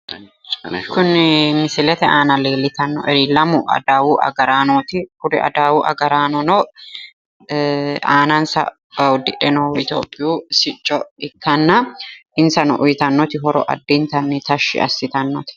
Kuni misilete aana leellitannoeri lamu adawu agaraanooti. Kuri adawu agaraanino aanansa uddidhe noohu ithiophiu sicco ikkanna insano uyitannoti horo addintanni tashshi assitannote.